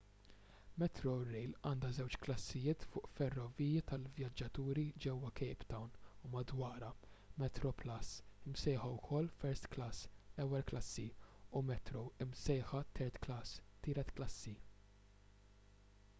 metrorail għandha żewġ klassijiet fuq ferroviji tal-vjaġġaturi ġewwa cape town u madwarha: metroplus imsejħa wkoll first class” ewwel klassi” u metro imsejħa third class” tielet klassi”